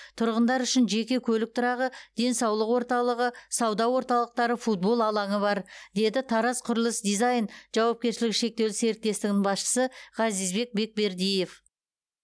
тұрғындар үшін жеке көлік тұрағы денсаулық орталығы сауда орталықтары футбол алаңы бар деді тараз құрылыс дизайн жауапкершілігі шектеулі серіктестігінің басшысы ғазизбек бекбердиев